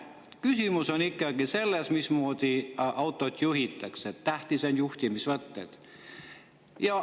Küsimus on ikkagi selles, mismoodi autot juhitakse, tähtsad on juhtimisvõtted.